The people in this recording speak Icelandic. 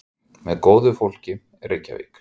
Með góðu fólki, Reykjavík.